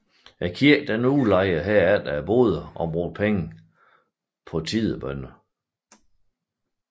Kirken udlejede herefter boderne og brugte pengene på tidebønner